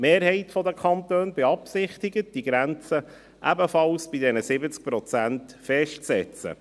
Die Mehrheit der Kantone beabsichtigt, die Grenze ebenfalls bei 70 Prozent festzusetzen.